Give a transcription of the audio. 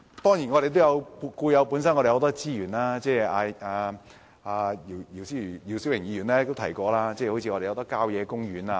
當然，本港本身亦有很多資源，姚思榮議員也提過本港有很多郊野公園。